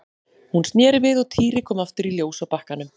Hún sneri við og Týri kom aftur í ljós á bakkanum.